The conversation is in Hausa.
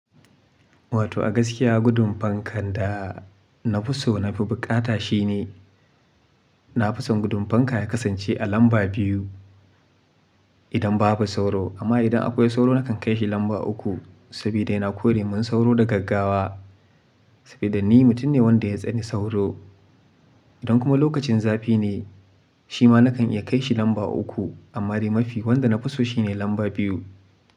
Wato gaskiya gudun fankan da nafi so nafi bukata shine, nafi son gudun fanka ya kasan ce a lamba biyu idan babu sauro. Amma idan akwai sauro nakan kai shi lamba uku saboda yana kore mun sauro da gaggawa. Saboda ni mutum ne wanda ya tsani sauro. Idan kuma lokacin zafi ne, shi ma nakan iya kai shi lamba uku amma dai mafi wanda nafi so shine lamba biyu.